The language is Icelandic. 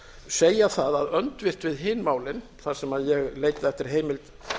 segja það að öndvert við hin málin þar sem ég leitaði eftir heimild